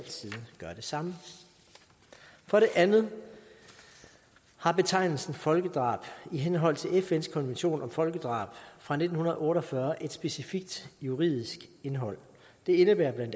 samme for det andet har betegnelsen folkedrab i henhold til fns konvention om folkedrab fra nitten otte og fyrre et specifikt juridisk indhold det indebærer bla